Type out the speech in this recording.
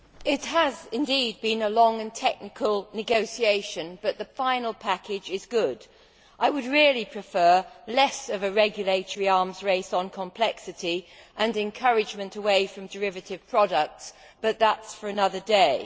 Mr President, it has indeed been a long and technical negotiation, but the final package is good. I would really prefer less of a regulatory arms race on complexity and encouragement away from derivative products, but that is for another day.